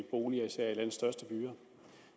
boliger især i landets største byer